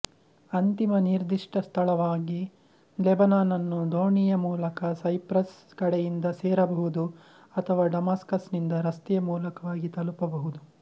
ಅಂತಿಮ ನಿರ್ದಿಷ್ಟ ಸ್ಥಳವಾಗಿ ಲೆಬನಾನ್ನನ್ನು ದೋಣಿಯ ಮೂಲಕ ಸೈಪ್ರಸ್ ಕಡೆಯಿಂದ ಸೇರಬಹುದು ಅಥವಾ ಡಮಾಸ್ಕಸ್ ನಿಂದ ರಸ್ತೆಯ ಮೂಲಕವಾಗಿ ತಲುಪಬಹುದು